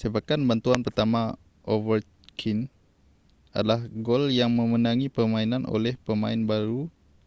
sepakan bantuan pertama ovechkin adalah gol yang memenangi permainan oleh pemain baru